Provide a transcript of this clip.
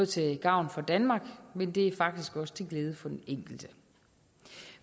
til gavn for danmark men det er faktisk også til glæde for den enkelte